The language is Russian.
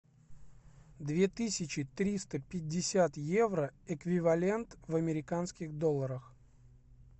две тысячи триста пятьдесят евро эквивалент в американских долларах